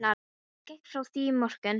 Ég gekk frá því í morgun.